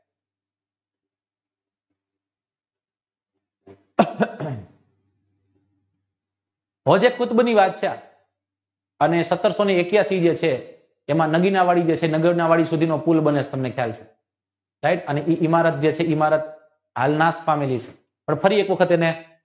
અને સત્તર point એક્યાશી જે છે એમાં એ ઇમારત હાલમાં પણ ફરી એક વખત એને